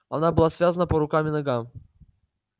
она была связана по рукам и ногам